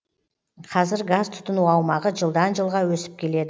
қазір газ тұтыну аумағы жылдан жылға өсіп келеді